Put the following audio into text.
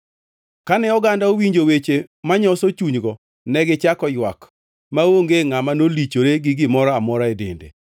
Kane oganda owinjo weche manyoso chunygo negichako ywak maonge ngʼama nolichore gi gimoro amora e dende.